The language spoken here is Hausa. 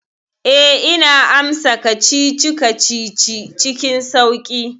Eh, ina amsa kacici-kacici cikin sauƙi.